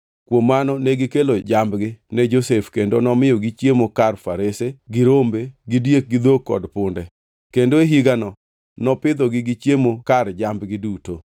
Kuom mano negikelo jambgi ne Josef kendo nomiyogi chiemo kar farese, gi rombe gi diek gi dhok kod punde. Kendo e higano, nopidhogi gi chiemo kar jambgi duto.